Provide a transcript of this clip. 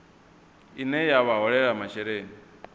ine ya vha holela masheleni